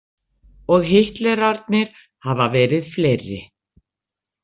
Og Hitlerarnir hafa verið fleiri.